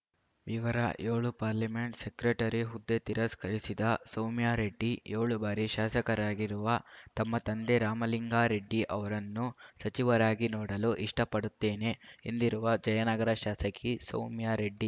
ವಿವರ ಏಳು parliament secretary ಹುದ್ದೆ ತಿರಸ್ಕರಿಸಿದ ಸೌಮ್ಯಾ ರೆಡ್ಡಿ ಏಳು ಬಾರಿ ಶಾಸಕರಾಗಿರುವ ತಮ್ಮ ತಂದೆ ರಾಮಲಿಂಗಾ ರೆಡ್ಡಿ ಅವರನ್ನು ಸಚಿವರಾಗಿ ನೋಡಲು ಇಷ್ಟಪಡುತ್ತೇನೆ ಎಂದಿರುವ ಜಯನಗರ ಶಾಸಕಿ ಸೌಮ್ಯಾ ರೆಡ್ಡಿ